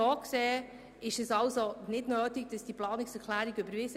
So gesehen ist es nicht nötig, diese Planungserklärungen zu überweisen.